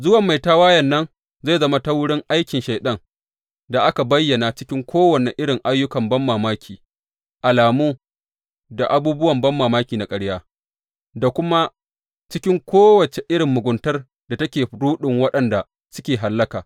Zuwan mai tawayen nan zai zama ta wurin aikin Shaiɗan da aka bayyana cikin kowane irin ayyukan banmamaki, alamu da abubuwan banmamaki na ƙarya, da kuma cikin kowace irin muguntar da take ruɗin waɗanda suke hallaka.